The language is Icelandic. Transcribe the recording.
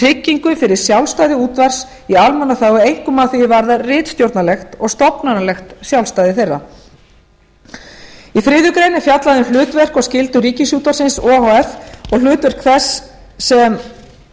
tryggingu fyrir sjálfstæði útvarps í almannaþágu einkum að því er varðar ritstjórnarlegt og stofnanalegt sjálfstæði þeirra í þriðju grein er fjallað um hlutverk og skyldur ríkisútvarpsins o h f